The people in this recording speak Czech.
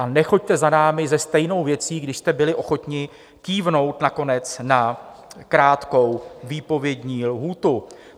A nechoďte za námi se stejnou věcí, když jste byli ochotní kývnout nakonec na krátkou výpovědní lhůtu.